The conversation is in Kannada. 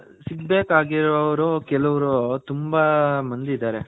ಆ ಸಿಗ್ಬೇಕ್ ಆಗಿರೋರು ಕೆಲ್ಲೋರ್ ತುಂಬಾ ಮಂದಿ ಇದಾರೆ.